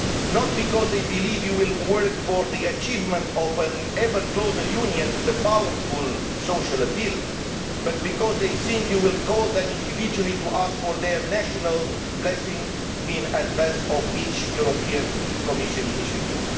Not because they believe you will work for the achievement of an ever closer union with a powerful social appeal, but because they think you will call them individually to ask for their national blessing in advance of each European Commission initiative.